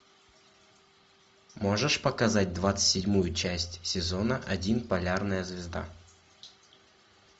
можешь показать двадцать седьмую часть сезона один полярная звезда